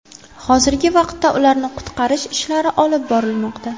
Hozirgi vaqtda ularni qutqarish ishlari olib borilmoqda.